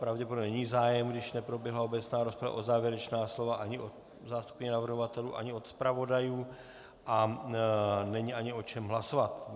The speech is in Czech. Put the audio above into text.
Pravděpodobně není zájem, když neproběhla obecná rozprava, o závěrečná slova ani od zástupkyně navrhovatelů ani od zpravodajů a není ani o čem hlasovat.